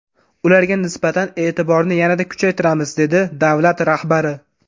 Ularga nisbatan e’tiborni yanada kuchaytiramiz”, dedi davlat rahbari.